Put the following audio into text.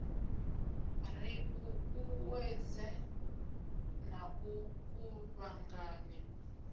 ri ṱuṱuwedze na u kuvhanganya